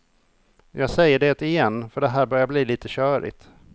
Jag säger detigen för det här börjar bli lite körigt.